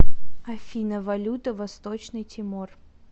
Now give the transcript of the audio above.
афина валюта восточный тимор